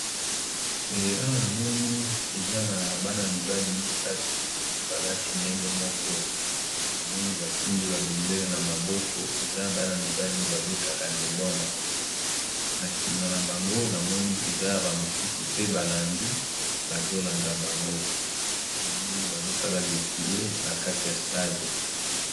Awa namoni eza bana mibale, misatu oyo balati ndenge moko namoni basimbi ba bendele na maboko eza bana mibale oyo babetaka ndembo ya makolo na sima na bango namoni eza ba misusu pe balandi bazolanda, bango namoni bazosala defile na kati ya stade.